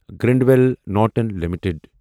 Granville Norton limited